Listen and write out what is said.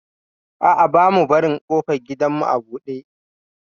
A'a, bamu barin ƙofar gidanmu a buɗe.